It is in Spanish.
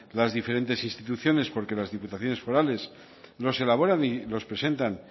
las diferentes instituciones porque en las diputaciones forales no se elaboran y los presentan